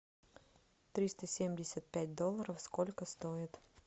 триста семьдесят пять долларов сколько стоит